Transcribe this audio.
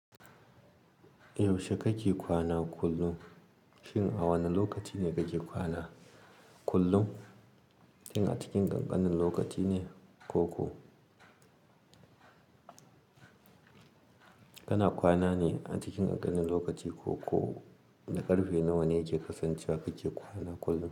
Yaushe kake kwana kullum? Shin a wane lokaci ne kake kwana kullum? Shin a cikin ƙanƙanan lokaci ne, ko kana kwana ne a cikin ƙanƙanan lokaci, ko na ƙarfe nawa ne yake kasancewa kake kwana kullum.